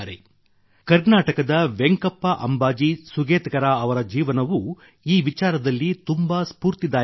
ಕರ್ನಾಟಕದ ವೆಂಕಪ್ಪ ಅಂಬಾಜಿ ಸುಗೇಟಕರ ಅವರ ಜೀವನವೂ ಈ ವಿಚಾರದಲ್ಲಿ ತುಂಬ ಸ್ಪೂರ್ತಿದಾಯಕವಾಗಿದೆ